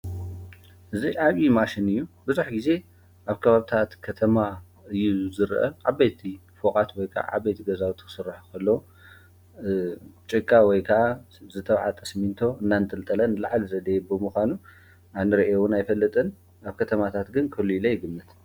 እዝ ኣዩ ማሽን እዩ ብዙኅ ጊዜ ኣብ ካባብታት ከተማ እዩ ዝርአ ዓበቲ ፈቓት ወይካ ዓበይቲ ገዛውቱ ሥራሕኸሎ ጭቃ ወይካ ዝተውዓጠ ስሚንቶ እናእንትልጠለን ለዓሊ ዘደየቦምዃኑ ኣንርየውን ኣይፈልጥን ኣብ ከተማታት ግን ክህሉ ኢለይ ይግምት: